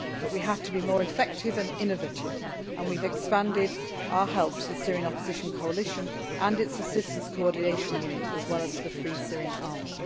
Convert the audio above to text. survive. However, we have to be more effective and innovative, and we have expanded our help to the Syrian Opposition Coalition and its Assistance Coordination Unit as well as the Free Syrian